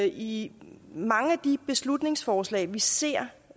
i mange af de beslutningsforslag vi ser